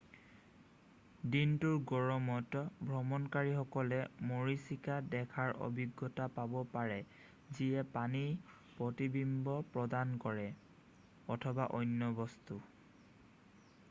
"দিনটোৰ গৰমত ভ্ৰমণকাৰীসকলে মৰীচিকা দেখাৰ অভিজ্ঞতা পাব পাৰে যিয়ে পানীৰ প্ৰতিবিম্ব প্ৰদান কৰে অথবা অন্য বস্তু। "